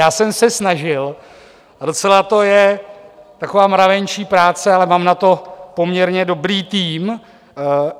Já jsem se snažil, a docela to je taková mravenčí práce, ale mám na to poměrně dobrý tým.